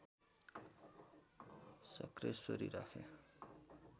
शक्रेश्वरी राखे